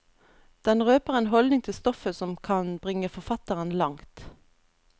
Den røper en holdning til stoffet som kan bringe forfatteren langt.